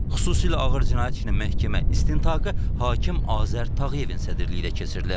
Xüsusilə ağır cinayət işinin məhkəmə istintaqı hakim Azər Tağıyevin sədrliyi ilə keçirilib.